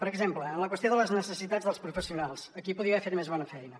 per exemple en la qüestió de les necessitats dels professionals aquí podria haver fet més bona feina